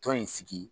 Tɔn in sigi